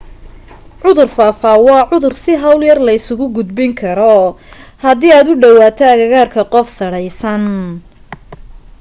cudur faafa waa cudur si hawl yar la isugu gudbin karo hadii aad u dhawaato agagaarka qof sadhaysan